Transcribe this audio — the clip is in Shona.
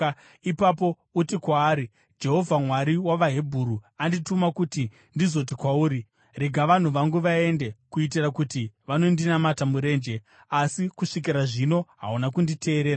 Ipapo uti kwaari, ‘Jehovha, Mwari wavaHebheru, andituma kuti ndizoti kwauri: Rega vanhu vangu vaende, kuitira kuti vanondinamata murenje. Asi kusvikira zvino hauna kunditeerera.’